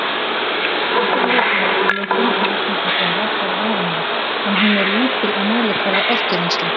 Náttúrleg orkulosun jarðhitasvæða er varanleg, en hún er lítil á mælikvarða orkuvinnslu.